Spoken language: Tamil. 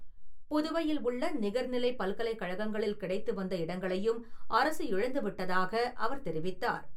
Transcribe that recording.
புதுவையில் உள்ள நிகர்நிலை பல்கலைக்கழகங்களில் கிடைத்து வந்த இடங்களையும் அரசு இழந்துவிட்டதாக அவர் தெரிவித்தார்.